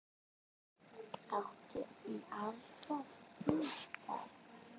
Áttu marga gítara?